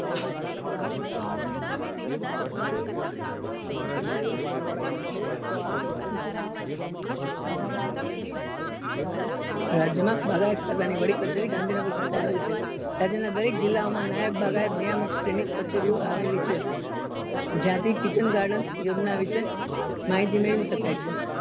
રાજ્ય માં બાગાયત ખાતા ની વડી કચેરી ગાંધીનગર ખાતે આવેલી છે રાજ્ય ના દરેક જીલ્લાઓ માં નાયબ નિયામક શ્રી ની કચેરીઓ આવેલી છે જ્યાંથી kitchen garden યોજના વિશે માહિતી મેળવી શકાય છે